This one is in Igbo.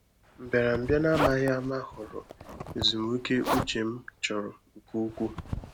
Mbịarambịa n’amaghị ama ghọrọ ezumike ụ́chè m chọ̀rọ̀ nke ukwuu.